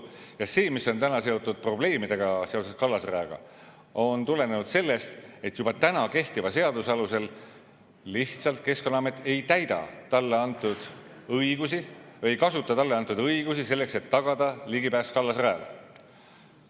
Ja see, mis on täna seotud probleemidega seoses kallasrajaga, on tulenenud sellest, et lihtsalt Keskkonnaamet ei täida talle kehtiva seadusega antud õigusi või ei kasuta talle antud õigusi selleks, et tagada ligipääs kallasrajale.